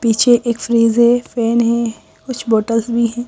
पीछे एक फ्रिज है फैन है कुछ बोतल्स भी हैं।